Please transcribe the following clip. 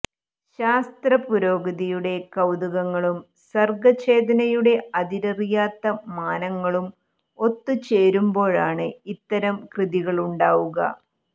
ശാസ്ത്രപുരോഗതിയുടെ കൌതുകങ്ങളും സർഗ്ഗചേതനയുടെ അതിരറിയാത്ത മാനങ്ങളും ഒത്തു ചേരുമ്പോഴാണ് ഇത്തരം കൃതികളുണ്ടാവുക